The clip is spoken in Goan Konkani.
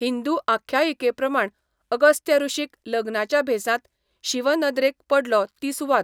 हिंदू आख्यायिकेप्रमाणें, अगस्त्य ऋषीक लग्नाच्या भेसांत शिव नदरेक पडलो ती सुवात.